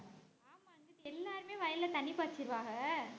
ஆமா இங்குட்டு எல்லாருமே வயல்ல தண்ணி பாய்ச்சிருவாங்க